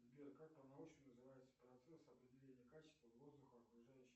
сбер как по научному называется процесс определения качества воздуха окружающей